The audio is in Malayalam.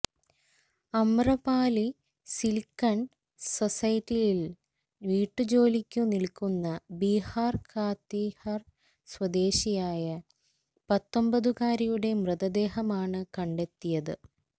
അമ്രപാലി സിലിക്കണ് സൊസൈറ്റിയില് വീട്ടുജോലിക്കു നില്ക്കുന്ന ബിഹാര് കാതിഹര് സ്വദേശിയായ പത്തൊന്പതുകാരിയുടെ മൃതദേഹമാണ് കണ്ടെത്തിയത്